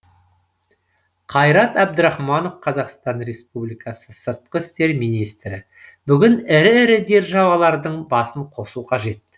қайрат әбдірахманов қазақстан республикасы сыртқы істер министрі бүгін ірі ірі державалардың басын қосу қажет